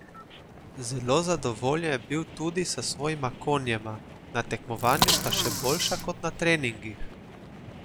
Zelo zadovoljen je bil tudi s svojima konjema: "Na tekmovanju sta še boljša kot na treningih.